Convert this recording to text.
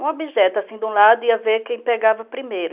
Um objeto, assim, de um lado, ia ver quem pegava primeiro.